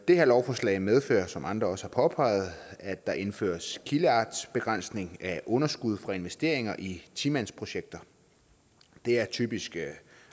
det her lovforslag medfører som andre også har påpeget at der indføres kildeartsbegrænsning af underskud for investeringer i ti mandsprojekter det er typisk